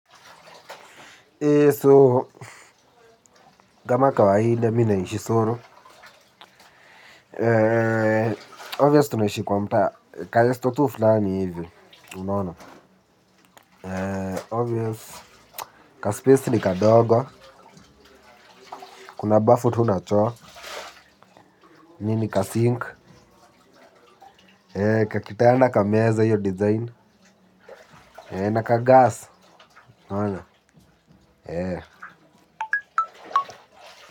Eee soo kama kawaida mi naishi solo. Eee Obvious tunaishi kwa mtaa. Ka esto tu fulani hivyo. Unaona. Eee Obvious. Ka space ni kadogo. Kuna bafu tu na choo. Nini ka sink. Eee kakitanda kameza hiyo design. Eee na kagas. Unaona. Eee.